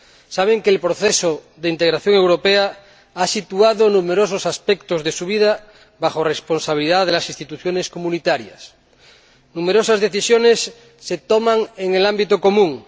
saben que el proceso de integración europea ha situado numerosos aspectos de su vida bajo la responsabilidad de las instituciones comunitarias numerosas decisiones se toman en el ámbito común.